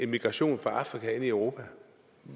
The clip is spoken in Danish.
migration fra afrika ind i europa